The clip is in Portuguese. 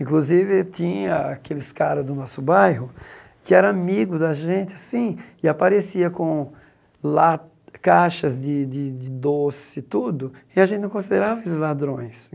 Inclusive, tinha aqueles caras do nosso bairro que eram amigos da gente, assim, e apareciam com la caixas de de de doce e tudo, e a gente não considerava eles ladrões.